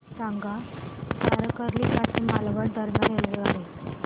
सांगा तारकर्ली पासून मालवण दरम्यान रेल्वेगाडी